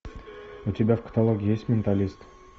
у тебя в каталоге есть менталист